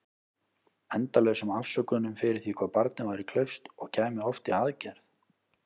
Endalausum afsökunum fyrir því hvað barnið væri klaufskt- og kæmi oft í aðgerð.